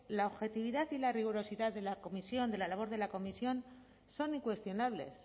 la objetividad y la rigurosidad de la comisión de la labor de la comisión son incuestionables